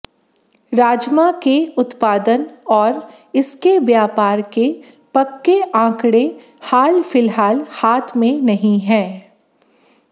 राजमा के उत्पादन और इसके व्यापार के पक्के आंकड़े हाल फिलहाल हाथ में नहीं हैं